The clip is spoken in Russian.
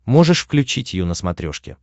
можешь включить ю на смотрешке